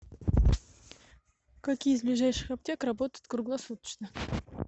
какие из ближайших аптек работают круглосуточно